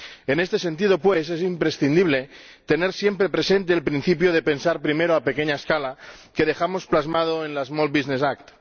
En este sentido, pues, es imprescindible tener siempre presente el principio de pensar primero a pequeña escala, que dejamos plasmado en la small business act